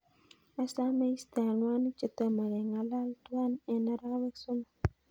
Asame iiste anwanik chetomo kengalal tuan en arawek somok